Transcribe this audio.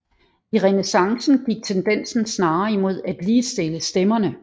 I renæssancen gik tendensen snarere imod at ligestille stemmerne